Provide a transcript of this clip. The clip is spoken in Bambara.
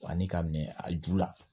Ani ka minɛ a ju la